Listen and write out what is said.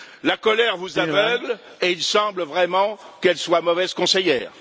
La colère vous aveugle et il semble vraiment qu'elle soit mauvaise conseillère.